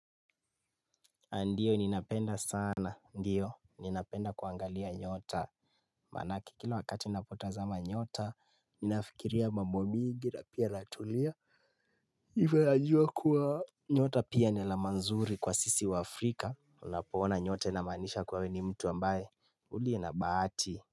Ndiyo ni napenda sana Ndiyo ni napenda kuangalia nyota Manake kila wakati napotazama nyota Ninafikiria mambo mingi na pia natulia Iwe ajua kuwa nyota pia ni alama nzuri kwa sisi waafrika napoona nyote namaanisha kuwa wewe ni mtu ambaye Uliye na bahati.